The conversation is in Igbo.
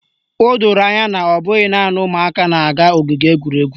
O doro anya na ọ bụghị naanị ụmụaka na-aga ogige egwuregwu